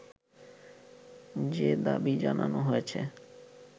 যে দাবি জানানো হয়েছে